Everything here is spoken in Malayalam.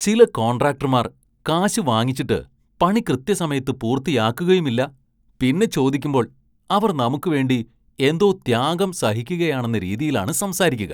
ചില കോണ്‍ട്രാക്ടര്‍മാര്‍ കാശ് വാങ്ങിച്ചിട്ട് പണി കൃത്യസമയത്ത് പൂര്‍ത്തിയാക്കുകയുമില്ല, പിന്നെ ചോദിക്കുമ്പോള്‍ അവര്‍ നമുക്ക് വേണ്ടി എന്തോ ത്യാഗം സഹിക്കുകയാണെന്ന രീതിയിലാണ് സംസാരിക്കുക.